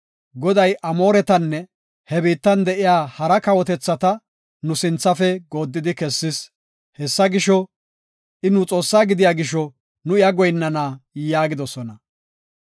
Goday Amooretanne he biittan de7iya hara kawotethata nu sinthafe gooddidi kessis. Hessa gisho, I nu Xoossaa gidiya gisho nu iya goyinnana” yaagidosona.